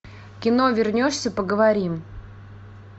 кино вернешься поговорим